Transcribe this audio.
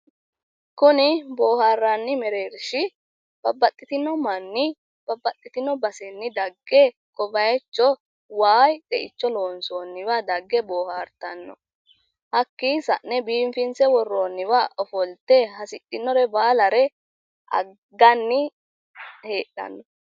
Kuni booharranni mereershi babbaxxitino manni babbaxxitino basenni dagge ko bayicho wayi xeicho loonsoonniwa dagge boohaartanno. Hakkii sa'ne biifinse worroonniwa ofolte hasidhinore baalare agganni heedhanno.